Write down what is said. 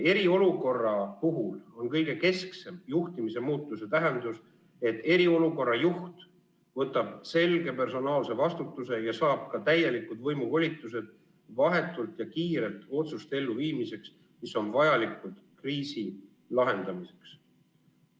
Eriolukorra puhul on kõige kesksem juhtimise muutuse tähendus, et eriolukorra juht võtab selge personaalse vastutuse ja saab ka täielikud võimuvolitused vahetult ja kiirelt otsuste elluviimiseks, mis on vajalikud kriisi lahendamiseks.